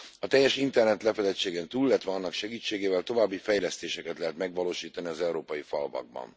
A teljes internetlefedettségen túl, illetve annak segítségével további fejlesztéseket lehet megvalósítani az európai falvakban.